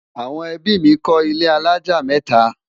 àwọn ẹbí mí kò ilé alájá meta